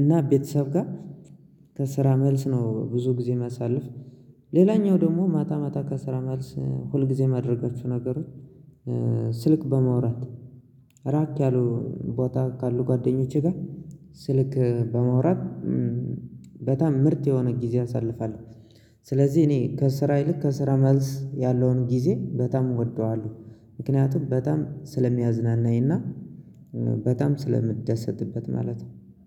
እና ቤተሰብ ጋር ከስራ መልስ ነው ብዙ ጊዜ ማሳለፍ። ሌላኛው ደግሞ ማታ ማታ ከስራ መልስ ሁል ጊዜ ማድረጋችሁ ነገሮች። ስልክ በማውራት ራቅ ያሉ ቦታ ካሉ ጓደኞቼ ጋር ስልክ በማውራት በጣም ምርጥ የሆነ ጊዜ አሳልፋለሁ። ስለዚህ እኔ ከስራ ይልቅ ከስራ መልስ ያለውን ጊዜ በጣም እወደዋለሁ። ምክንያቱም በጣም ስለሚያዝናናኝና በጣም ስለምደሰትበት ማለት ነው።